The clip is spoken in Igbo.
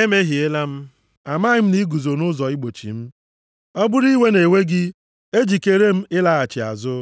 “Emehiela m. Amaghị m na i guzo nʼụzọ igbochi m. Ọ bụrụ iwe na-ewe gị, ejikeere m ịlaghachi azụ.”